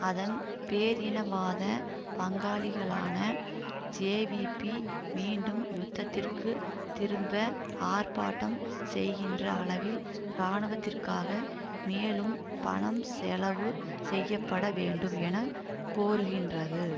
அதன் பேரினவாத பங்காளிகளான ஜேவிபி மீண்டும் யுத்தத்திற்கு திரும்ப ஆர்ப்பாட்டம் செய்கின்ற அளவில் இராணுவத்திற்காக மேலும் பணம் செலவு செய்ய பட வேண்டும் என கோருகின்றது